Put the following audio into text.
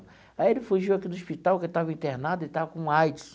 Aí ele fugiu aqui do hospital porque estava internado e estava com AIDS.